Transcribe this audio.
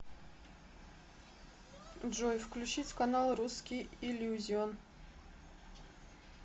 джой включить канал русский иллюзион